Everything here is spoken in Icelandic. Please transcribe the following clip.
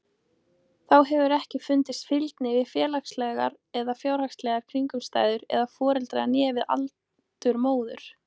Þá hefur ekki fundist fylgni við félagslegar eða fjárhagslegar kringumstæður foreldra né við aldur móður.